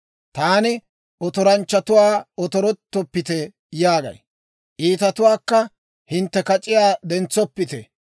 Taani otoranchchatuwaa, Otorettoppite yaagay; iitatuwaakka, Hintte kac'iyaa dentsoppite.